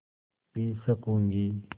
P सकँूगी